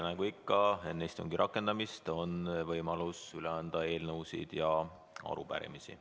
Nagu ikka, on enne istungi rakendamist võimalus üle anda eelnõusid ja arupärimisi.